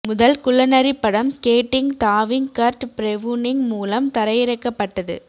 முதல் குள்ளநரி படம் ஸ்கேட்டிங் தாவிங் கர்ட் பிரவுனிங் மூலம் தரையிறக்கப்பட்டது